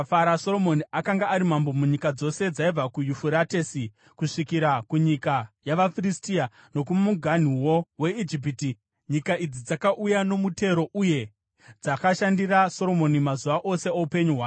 Soromoni akanga ari mambo munyika dzose dzaibva kuYufuratesi kusvikira kunyika yavaFiristia, nokumuganhuwo weIjipiti. Nyika idzi dzakauya nomutero uye dzakashandira Soromoni mazuva ose oupenyu hwake.